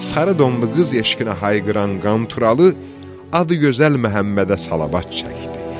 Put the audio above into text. Sarı donlu qız eşqinə hayqıran Qanturalı, adıgözəl Məhəmmədə salavat çəkdi.